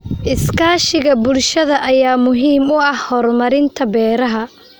Iskaashiga bulshada ayaa muhiim u ah horumarinta beeraha.